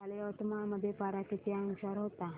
काल यवतमाळ मध्ये पारा किती अंशावर होता